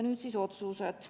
Nüüd siis otsused.